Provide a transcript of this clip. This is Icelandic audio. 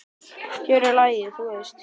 Hér er lagið, þú veist!